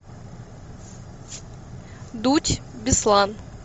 дудь беслан